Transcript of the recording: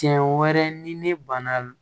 Tiɲɛ wɛrɛ ni ne banna